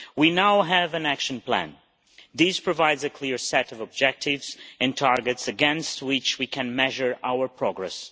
We now have an action plan. This provides a clear set of objectives and targets, against which we can measure our progress.